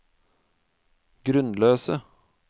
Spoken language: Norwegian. grunnløse